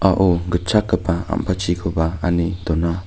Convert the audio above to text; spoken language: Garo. a·o gitchakgipa ampatchikoba anne dona.